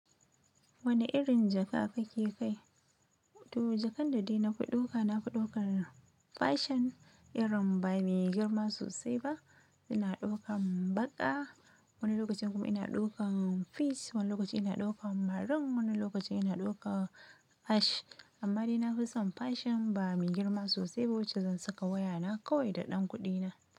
Wane irin jaka kake kai? To jakan da dai na fi ɗauka, na fi ɗaukar fashion irin ba mai girma sosai ba. Ina ɗaukar baƙa, wani lokacin kuma ina ɗaukar fish, wani lokacin ina ɗaukar marun, wani lokacin ina ɗaukar ash. Amma dai na fi son fashion ba mai girma sosai ba wacce zan saka wayana kawai da ɗan kuɗina.